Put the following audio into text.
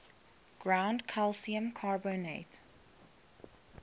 ground calcium carbonate